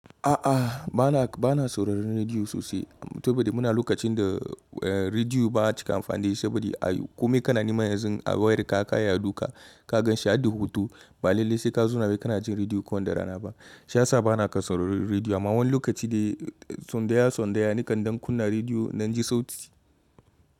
A'a bana, bana sauraron rediyo sosai saboda muna lokacin da rediyo ba cika amfani saboda a kome kana nema yanzu a wayar ka ka iya duka ka gan shi har da hoto, ba lallai sai ka zauna wai kana jin rediyo ko da rana ba. Shiya saba na kan saurari rediyo amma wani lokaci dai tsandaya-tsandaya nikan dan kunna rediyo nan ji sauti.